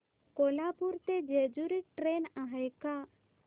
कोल्हापूर ते जेजुरी ट्रेन आहे का